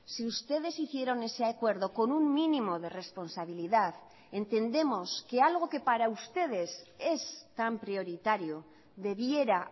si ustedes hicieron ese acuerdo con un mínimo de responsabilidad entendemos que algo que para ustedes es tan prioritario debiera